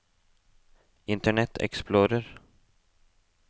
internet explorer